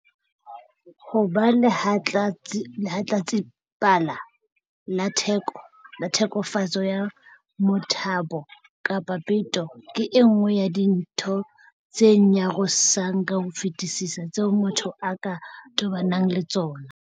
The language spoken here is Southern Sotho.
Ho ba lehlatsipa la tlheke fetso ya motabo kapa peto ke e nngwe ya dintho tse nyarosang ka ho fetisisa tseo motho a ka tobanang le tsona.